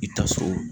I taa so